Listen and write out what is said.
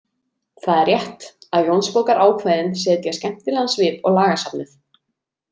Það er rétt, að Jónsbókarákvæðin setja skemmtilegan svip á lagasafnið.